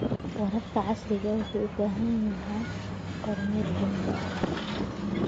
Waraabka casriga ahi wuxuu u baahan yahay kormeer joogto ah.